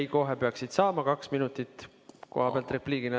Ei, kohe peaksid saama kaks minutit kohapealt repliigina.